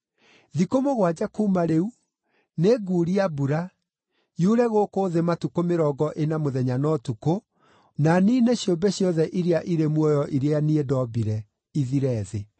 Thikũ mũgwanja kuuma rĩu, nĩnguuria mbura, yure gũkũ thĩ matukũ mĩrongo ĩna mũthenya na ũtukũ, na niine ciũmbe ciothe iria irĩ muoyo iria niĩ ndombire, ithire thĩ.”